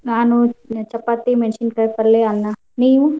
ನಾನು ಚಪಾತಿ ಮೆಣಸಿನ್ಕಾಯ್ ಪಲ್ಯ ಅನ್ನ ನೀನು?